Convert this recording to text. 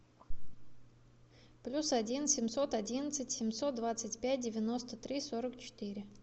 плюс один семьсот одиннадцать семьсот двадцать пять девяносто три сорок четыре